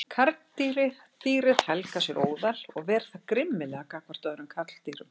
Karldýrið helgar sér óðal og ver það grimmilega gagnvart öðrum karldýrum.